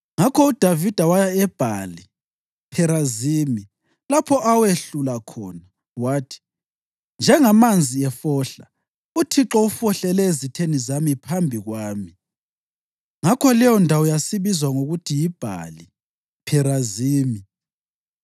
Ngakho uDavida waya eBhali Pherazimi, lapho awehlula khona. Wathi, “Njengamanzi efohla, uThixo ufohlele ezitheni zami phambi kwami.” Ngakho leyondawo yasibizwa ngokuthi yiBhali Pherazimi.